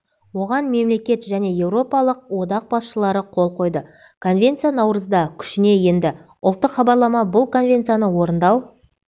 оған мемлекет және еуропалық одақ басшылары қолқойды конвенция наурызда күшіне енді ұлттық хабарлама бұл конвенцияны орындау